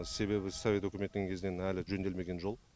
себебі совет өкіметінің кезінен әлі жөнделмеген жол